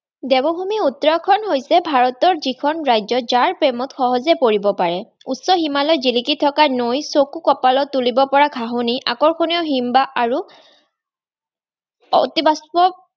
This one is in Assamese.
দেৱভূমি উত্তৰাখণ্ড হৈছে ভাৰতৰ যিখন ৰাজ্য যাৰ প্ৰেমত সহজে পৰিব পাৰে। উচ্চ হিমালয়ত জিলিকি থকা নৈ, চকু কপালত তুলিব পৰা ঘাহনি, আকৰ্ষণীয় হিমবাহ, আৰু অতি বাষ্প